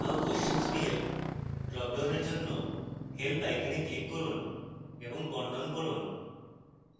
how questions behave ড্রপডাউনের জন্য help icon click করুন এবং বর্ণন পড়ুন